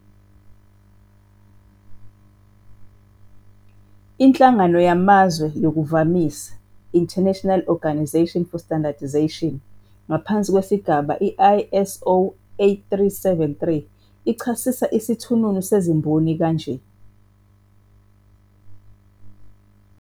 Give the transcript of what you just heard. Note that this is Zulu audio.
Inhlangano yamaZwe yokuVamisa, International Organization for Standardization," ngaphansi kwesigaba ISO 8373 ichasisa isithununu sezimboni kanje-